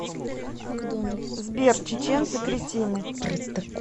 сбер чеченцы кретины